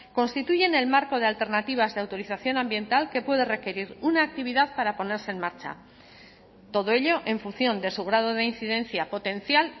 constituyen el marco de alternativas de autorización ambiental que puede requerir una actividad para ponerse en marcha todo ello en función de su grado de incidencia potencial